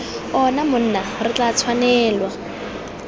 ona monna re tla tshwanelwa